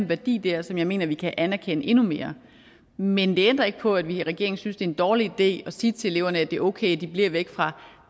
værdi der som jeg mener at vi kan anerkende endnu mere men det ændrer ikke på at vi i regeringen synes en dårlig idé at sige til eleverne at det er okay at de bliver væk fra